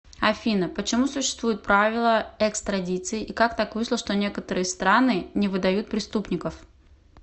афина почему существуют правила экстрадиции и как так вышло что некоторые страны не выдают преступников